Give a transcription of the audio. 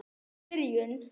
Mögnuð byrjun.